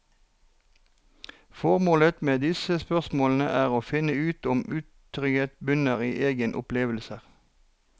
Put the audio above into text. Formålet med disse spørsmålene er å finne ut om utrygghet bunner i egne opplevelser.